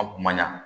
A kun ma ɲa